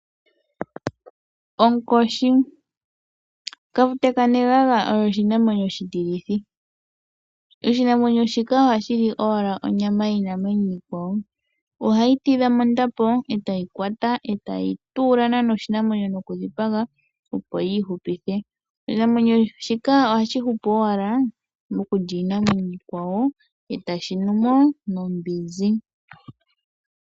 Onkoshi, Kafute ka neganga oyo oshi namwenyo oshitilithi. Oha shili owala onyama yiinamwenyo iikwawo, ohayi tidha mondapo e tayi kwata e tayi tuula naana oshinamwenyo noku dhipaga yi ihupithe. Oshinamwenyo shika ohashi hupu owala mokulya iinamwenyo iikwawo e tashi numo nombinzi.